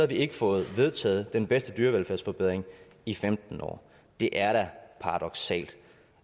vi ikke fået vedtaget den bedste dyrevelfærdsforbedring i femten år det er da paradoksalt